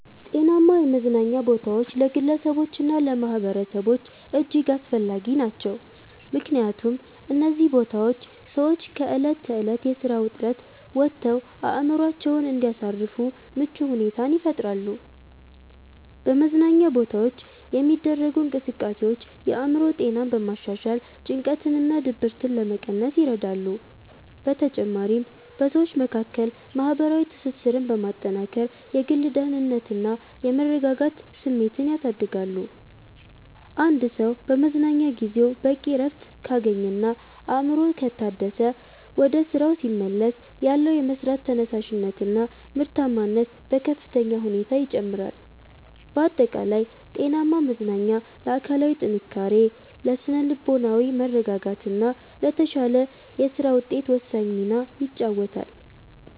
ጤናማ የመዝናኛ ቦታዎች ለግለሰቦችና ለማኅበረሰቦች እጅግ አስፈላጊ ናቸው። ምክንያቱም እነዚህ ቦታዎች ሰዎች ከዕለት ተዕለት የሥራ ውጥረት ወጥተው አእምሮአቸውን እንዲያሳርፉ ምቹ ሁኔታን ይፈጥራሉ። በመዝናኛ ቦታዎች የሚደረጉ እንቅስቃሴዎች የአእምሮ ጤናን በማሻሻል ጭንቀትንና ድብርትን ለመቀነስ ይረዳሉ። በተጨማሪም በሰዎች መካከል ማህበራዊ ትስስርን በማጠናከር የግል ደህንነትና የመረጋጋት ስሜትን ያሳድጋሉ። አንድ ሰው በመዝናኛ ጊዜው በቂ እረፍት ካገኘና አእምሮው ከታደሰ፣ ወደ ሥራው ሲመለስ ያለው የመሥራት ተነሳሽነትና ምርታማነት በከፍተኛ ሁኔታ ይጨምራል። ባጠቃላይ ጤናማ መዝናኛ ለአካላዊ ጥንካሬ፣ ለሥነ-ልቦናዊ መረጋጋትና ለተሻለ የሥራ ውጤት ወሳኝ ሚና ይጫወታል።